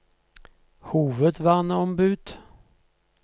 hovedverneombud